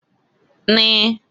N